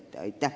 Aitäh!